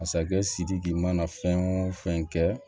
Masakɛ sidiki mana fɛn o fɛn kɛ